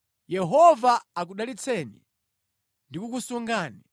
“ ‘Yehova akudalitse ndi kukusunga;